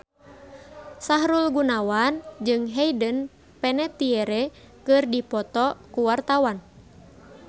Sahrul Gunawan jeung Hayden Panettiere keur dipoto ku wartawan